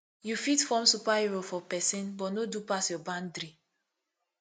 yu fit form superhero for pesin but no do pass yur bandry